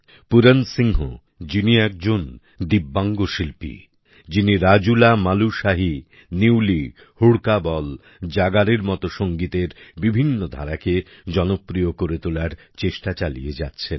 পুরন সিংহ যিনি একজন দিব্যাংগ শিল্পী যিনি রাজুলা মালুশাহীনিউলি হুড়কা বল জাগারের মতো সংগীতের বিভিন্ন ধারাকে জনপ্রিয় করে তোলার চেষ্টা চালিয়ে যাচ্ছেন